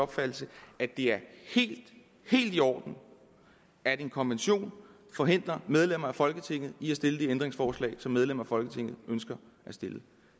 opfattelse at det er helt helt i orden at en konvention forhindrer medlemmer af folketinget i at stille de ændringsforslag som medlemmer af folketinget ønsker at stille